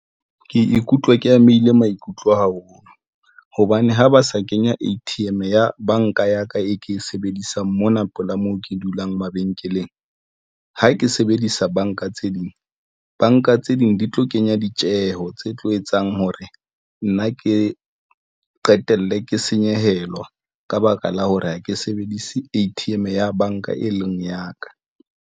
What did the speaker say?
Ke ikutlwa ke amehile maikutlo haholo hobane ha ba sa kenya A_T_M ya banka ya ka e ke e sebedisang mona pela moo ke dulang mabenkeleng ha ke sebedisa banka tse ding, banka tse ding, di tlo kenya ditjeho tse tlo etsang hore nna ke qetelle ke senyehelwa ka baka la hore ha ke sebedise A_T_M ya banka, e leng ya ka.